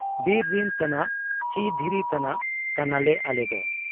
ᱵᱤᱨ ᱨᱤᱱ ᱫᱟᱨᱮ ᱛᱟᱱᱟᱜ ᱪᱤ ᱫᱷᱤᱨᱤ ᱛᱟᱱᱟᱜ ᱠᱟᱱᱟᱞᱮ ᱟᱞᱮᱫᱚ ᱾